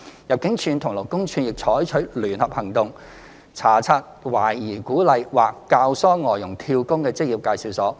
入境處及勞工處並採取聯合行動，查察懷疑鼓勵或教唆外傭"跳工"的職業介紹所。